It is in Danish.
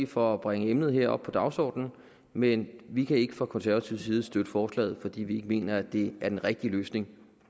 for at bringe emnet op på dagsordenen men vi kan ikke fra konservativ side støtte forslaget fordi vi ikke mener at det er den rigtige løsning